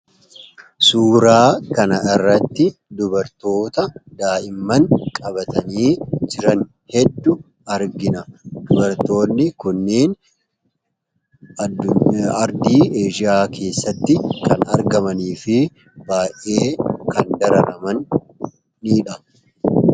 suuraa kana irratti dubartoota daa'imman qabatanii jiran heddu argina dubartoonni kunnien ardii eshiyaa keessatti kan argamanii fi baa'ee kan dararamanidha